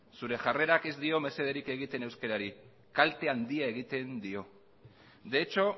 zure jarrera ez dio mesederik egiten euskarari kalte handia egiten dio de hecho